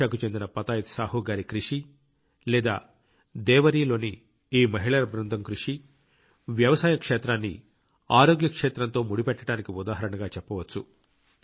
ఒడిషాకు చెందిన పతాయత్ సాహు గారి కృషి లేదా దేవరీ లోని ఈ మహిళల బృందం కృషి వ్యవసాయ క్షేత్రాన్ని ఆరోగ్య క్షేత్రంతో ముడిపెట్టడానికి ఉదాహరణగా చెప్పవచ్చు